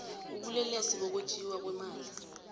ubulelesi bokwetjiwa kweemali